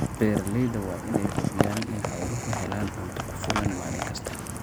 Beeralayda waa in ay hubiyaan in xooluhu helaan cunto ku filan maalin kasta.